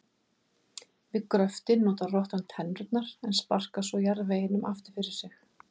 Við gröftinn notar rottan tennurnar en sparkar svo jarðveginum aftur fyrir sig.